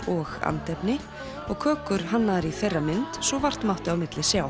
og andefni og kökur hannaðar í þeirra mynd svo vart mátti á milli sjá